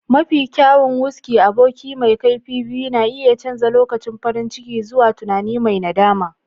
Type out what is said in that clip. Mafi kyawun-whisky, aboki mai kaifi biyu, na iya canza lokacin farin ciki zuwa tunani mai nadama.